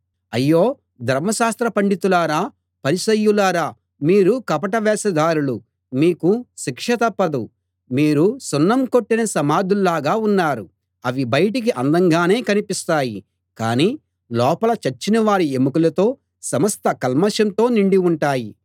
అయ్యో ధర్మశాస్త్ర పండితులారా పరిసయ్యులారా మీరు కపట వేషధారులు మీకు శిక్ష తప్పదు మీరు సున్నం కొట్టిన సమాధుల్లాగా ఉన్నారు అవి బయటకి అందంగానే కనిపిస్తాయి కాని లోపల చచ్చినవారి యెముకలతో సమస్త కల్మషంతో నిండి ఉంటాయి